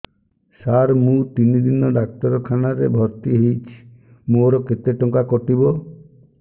ସାର ମୁ ତିନି ଦିନ ଡାକ୍ତରଖାନା ରେ ଭର୍ତି ହେଇଛି ମୋର କେତେ ଟଙ୍କା କଟିବ